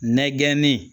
Nɛgɛnni